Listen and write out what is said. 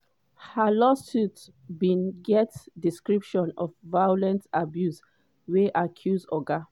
her lawsuit bin get description of violent abuse wey accuse oga